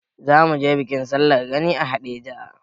Za mu je bikin sallar gani a Haɗeja.